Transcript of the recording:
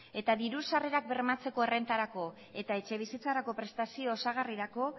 eta diru sarrerak bermatzeko errentarako eta etxebizitzarako prestazio osagarrirako